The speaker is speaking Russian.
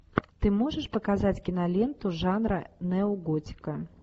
ты можешь показать киноленту жанра неоготика